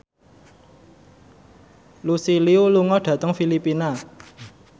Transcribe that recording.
Lucy Liu lunga dhateng Filipina